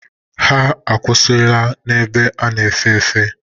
Ha akwụsịlarị n'ebe a na-efe efe.